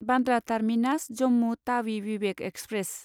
Bandra terminus Jammu Tawi Vivek express